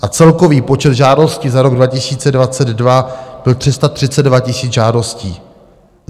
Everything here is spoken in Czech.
A celkový počet žádostí za rok 2022 byl 332 000 žádostí.